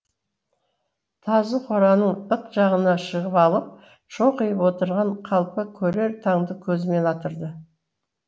тазы қораның ық жағына шығып алып шоқиып отырған қалпы көрер таңды көзімен атырды